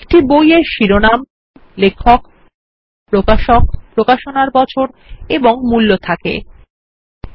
একটি বই এর শিরোনাম লেখক প্রকাশক প্রকাশনার বছর এবং মূল্য থাকতে পারে